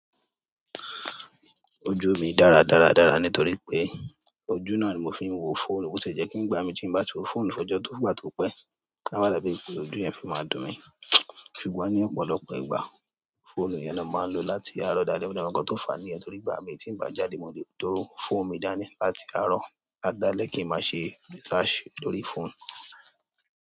Ojú mi dára dára dára nítorí pé ojú náà ni mo fi ń wo phone ó sì jẹ́ kí ń gba àmì tí bá ti wo phone fọ́jọ́ tó gbà tó pẹ́. Awa dàbí pé ojú yẹn fi máa dùn mí. Ṣùgbọ́n ní ọ̀pọ̀lọpọ̀ ìgbà, phone yẹn ni a máa ń lo láti àárọ̀ dalẹ́. Gbogbo nkan to fa ni yen torí nígbà mi mo le dalẹ́ kí ń má ṣe research lórí phone.